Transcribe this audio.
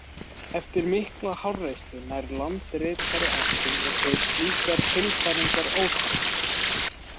Eftir mikla háreysti nær landritari áttum og segir slíkar tilfæringar óþarfar.